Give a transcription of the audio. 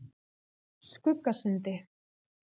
Skuggasundi